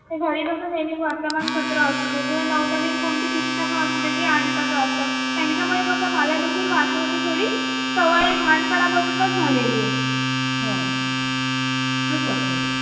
ते घरी कस नेहमी वर्तमानपत्र असुदे किंवा नवनवीन कोणती पुस्तके असुदे ती आणतच आसतात. त्यांच्यास मला देखील वाचनाची थोडी सवय लहानपणापासून झालेली आहे. असं